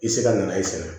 I tɛ se ka na e sɛnɛ